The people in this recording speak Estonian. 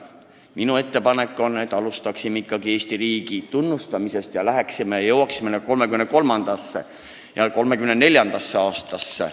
Minu ettepanek on, et alustame Eesti riigi tunnustamisest ja jõuame 1933. ja 1934. aastasse.